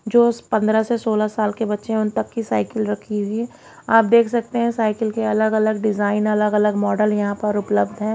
जो उस पंद्रह सोलह साल के बच्चे उन तक की साइकिल रखी हुई है। आप देख सकते हैं साइकिल के अलग-अलग डिजाइन अलग-अलग मॉडल यहां पर उपलब्ध है।